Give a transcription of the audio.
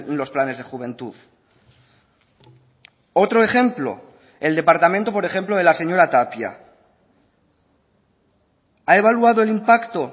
los planes de juventud otro ejemplo el departamento por ejemplo de la señora tapia ha evaluado el impacto